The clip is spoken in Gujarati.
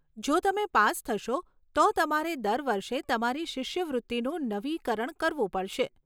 જો તમે પાસ થશો, તો તમારે દર વર્ષે તમારી શિષ્યવૃત્તિનું નવીકરણ કરવું પડશે.